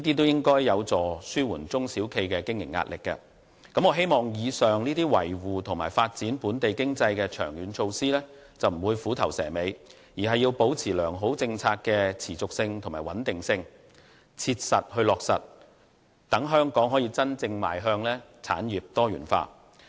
以上種種均是良好的措施和政策，旨在維護和推動本地經濟的長遠發展，我希望政府不會虎頭蛇尾，而是竭力確保它們的延續性和穩定性，真正予以落實，讓香港能夠真正邁向產業多元化。